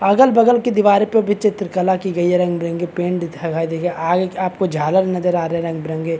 अगल-बगल की दीवारें पर भी चित्रकला की गई है। रंग-बिरंगे पैंट । आगे आपको झालर नज़र आ रहे हैं रंग बिरंगे। .